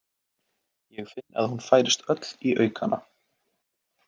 Ég finn að hún færist öll í aukana.